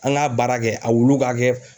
An k'a baara kɛ a wulu ka kɛ